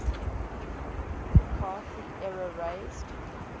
mccarthy era raised